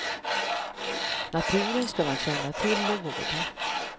Naturen ska man känna till och vårda.